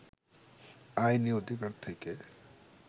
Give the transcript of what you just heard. আইনি অধিকার থেকে